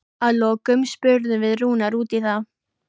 Að lokum spurðum við Rúnar út í það?